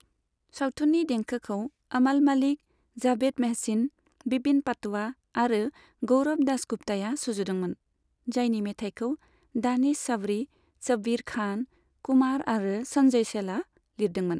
सावथुननि देंखोखौ अमाल मालिक, जाभेद महसिन, बिपिन पाटवा आरो गौरब दासगुप्ताया सुजुदोंमोन, जायनि मेथाइखौ दानिश साबरी, शब्बीर खान, कुमार आरो सन्जय छेला लिरदोंमोन।